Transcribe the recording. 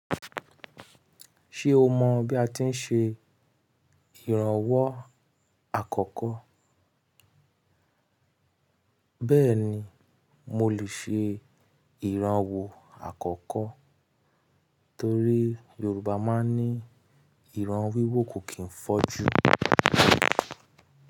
Ṣé o mọ̀ bí a ti ń ṣe ìrànwọ́ àkọ́kọ́? Bẹ́ẹ̀ni, mo lè ṣe ìranwọ́ àkọ́kọ́ torí Yorùbá máa ń ní "ìran wíwó kò kì í fọ́jú".